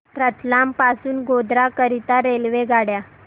रतलाम पासून गोध्रा करीता रेल्वेगाड्या